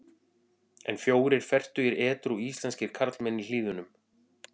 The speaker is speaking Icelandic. En fjórir fertugir edrú íslenskir karlmenn í Hlíðunum.